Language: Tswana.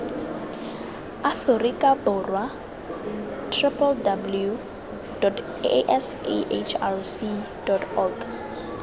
afrika borwa www sahrc org